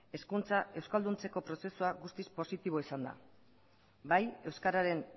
euskalduntzeko prozesua guztiz positiboa izan da bai euskararen